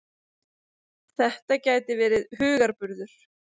Þetta gæti verið hugarburður.